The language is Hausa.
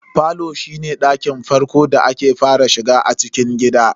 Falo shine ɗakin farko da ake fara shiga a cikin gida.